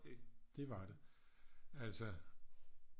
Det var det altså